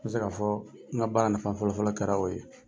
N bɛ se k'a fɔ n ka baara nafa fɔlɔfɔlɔ kɛra o ye.